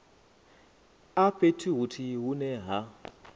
a fhethu huthihi hune ha